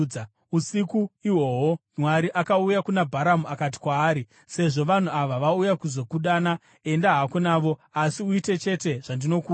Usiku ihwohwo Mwari akauya kuna Bharamu akati kwaari, “Sezvo vanhu ava vauya kuzokudana, enda hako navo, asi uite chete zvandinokuudza.”